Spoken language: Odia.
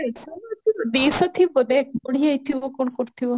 ଦେଢ଼ଶହ ନୁହଁ ଦୁଇଶହ ହେଇ ଯାଇଥିବ ଦେଖ ବଢି ଯାଇଥିବା କଣ କରିଥିବ